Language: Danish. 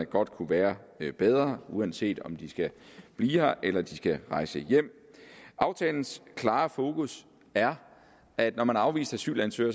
godt kunne være bedre uanset om de skal blive her eller rejse hjem aftalens klare fokus er at når man er afvist asylansøger